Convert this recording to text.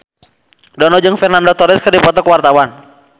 Dono jeung Fernando Torres keur dipoto ku wartawan